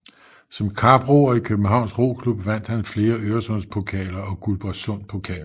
Som kaproer i Københavns Roklub vandt han flere Øresundspokaler og Guldborgsundpokaler